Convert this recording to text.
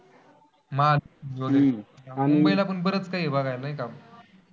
माझं मुंबईला पण बरंच कांही बघायला आहे नाही का?